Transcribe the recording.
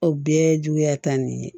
O bɛɛ juguya ta nin ye